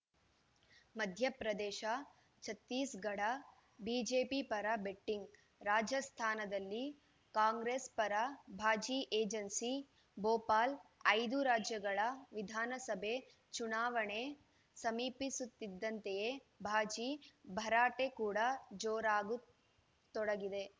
ಮಧ್ಯ ಪ್ರದೇಶ ಛತ್ತೀಸ್‌ಗಢ ಬಿಜೆಪಿ ಪರ ಬೆಟ್ಟಿಂಗ್‌ ರಾಜಸ್ಥಾನದಲ್ಲಿ ಕಾಂಗ್ರೆಸ್‌ ಪರ ಬಾಜಿ ಏಜೆನ್ಸಿ ಭೋಪಾಲ್‌ ಐದು ರಾಜ್ಯಗಳ ವಿಧಾನಸಭೆ ಚುನಾವಣೆ ಸಮೀಪಿಸುತ್ತಿದ್ದಂತೆಯೇ ಬಾಜಿ ಭರಾಟೆ ಕೂಡ ಜೋರಾಗತೊಡಗಿದೆ